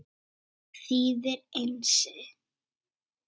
Það þýðir Einsi.